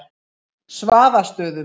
Svaðastöðum